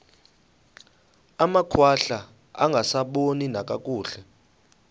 amakhwahla angasaboni nakakuhle